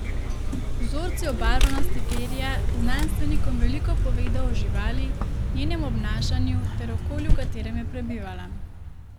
Vzorci obarvanosti perja znanstvenikom veliko povedo o živali, njenem obnašanju ter okolju v katerem je prebivala.